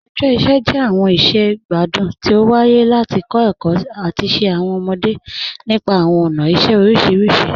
Awọn ọjọ iṣẹ jẹ awọn iṣẹ igbadun ti o waaye lati kọ ẹkọ ati ṣe awọn ọmọde nípa awọn ọna iṣẹ oriṣiriṣi.